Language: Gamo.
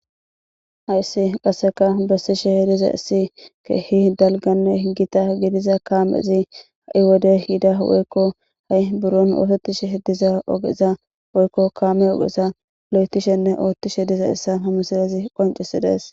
Hayssi qasseka bessishe dizayssi keehi dalganne gita gidiza kaamezi ha7i wode yida woykko ha7i buron ootettishe diza ogeza woykko kaame ogeza lo7etishenne oottishe dizayssa ha misilezi qoncisidees.